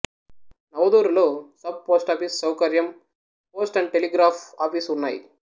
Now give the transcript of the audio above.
నవుదూరులో sub post office సౌకర్యం post and telegraph office ఉన్నాయి